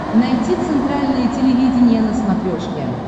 найти центральное телевидение на смотрешке